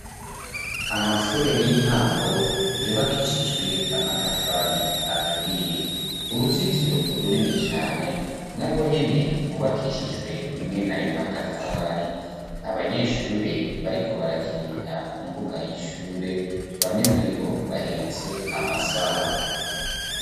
Amashure y'intango yubakishijwe amatafari aturiye. Uruzitiro urunini cane narwo nyene rwubakishijwe mwene ayo matafari. Abanyeshure bariko barakinira ku mbuga y'ishure, bamwe muri bo bahetse amasaho.